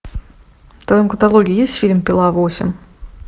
в твоем каталоге есть фильм пила восемь